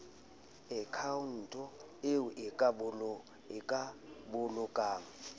akhaonto eo o ka bolokang